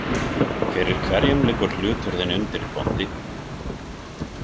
Fyrir hverjum liggur hlutur þinn undir, bóndi?